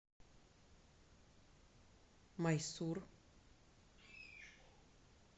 майсур